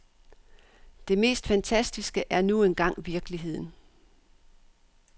Det mest fantastiske er nu engang virkeligheden.